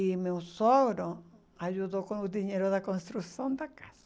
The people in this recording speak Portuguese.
E meu sogro ajudou com o dinheiro da construção da casa.